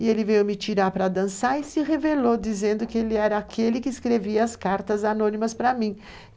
E ele veio me tirar para dançar e se revelou dizendo que ele era aquele que escrevia as cartas anônimas para mim.